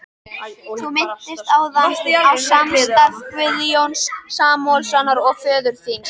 Þú minntist áðan á samstarf Guðjóns Samúelssonar og föður þíns.